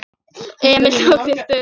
Emil tók sér stöðu.